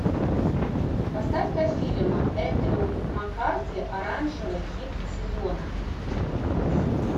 поставь ка фильм эндрю маккарти оранжевый хит сезона